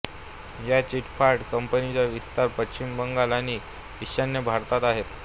या चिटफंड कंपनीचा विस्तार पश्चिम बंगाल आणि ईशान्य भारतात आहेत